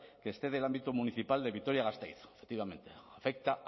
que excede el ámbito municipal de vitoria gasteiz afecta